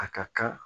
A ka kan